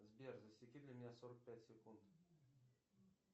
сбер засеки для меня сорок пять секунд